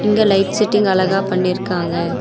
இங்க light setting அழகா பண்ணிருக்காங்க.